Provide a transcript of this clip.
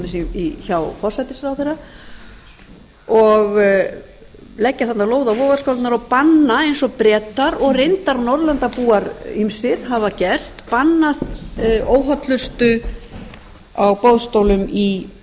dæmis hjá forsætisráðherra og leggja þarna lóð á vogarskálarnar og banna eins og bretar og reyndar norðurlandabúar ýmsir hafa gert banna óhollustu á boðstólum í